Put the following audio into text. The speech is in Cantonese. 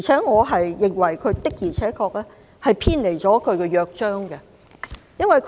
我認為港台的做法的確偏離了《香港電台約章》。